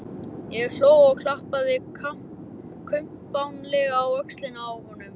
Ég hló og klappaði kumpánlega á öxlina á honum.